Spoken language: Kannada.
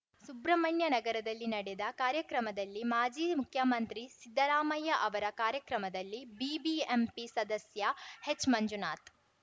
ಸುಬ್ರಹ್ಮಣ್ಯನಗರದಲ್ಲಿ ನಡೆದ ಕಾರ್ಯಕ್ರಮದಲ್ಲಿ ಮಾಜಿ ಮುಖ್ಯಮಂತ್ರಿ ಸಿದ್ದರಾಮಯ್ಯ ಅವರ ಕಾರ್ಯಕ್ರಮದಲ್ಲಿ ಬಿಬಿಎಂಪಿ ಸದಸ್ಯ ಹೆಚ್‌ಮಂಜುನಾಥ್‌